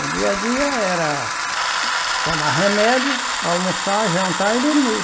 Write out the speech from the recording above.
O dia a dia era tomar remédio, almoçar, jantar e dormir.